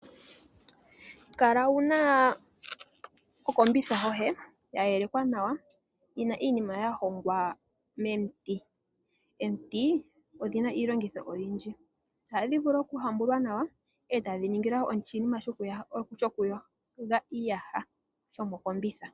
Kala wuna okombitha yoye ya yelekwa nawa yina iinima ya hongwa momiti. Omiti odhina iiongitho oyindji. Ohadhi vulu okuhambulwa nawa etadhi ningwa oshinima shokuyogela iiyaha shomokombitha.